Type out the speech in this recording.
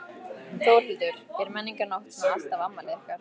Þórhildur: Er Menningarnótt svona alltaf afmælið ykkar?